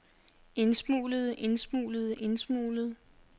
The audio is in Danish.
indsmuglede indsmuglede indsmuglede